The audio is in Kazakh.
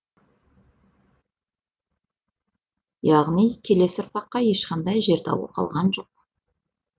яғни келесі ұрпаққа ешқандай жер дауы қалған жоқ